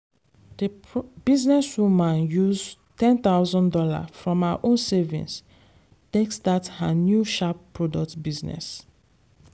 the business woman use ten thousand dollars from her own savings take start her new sharp product business.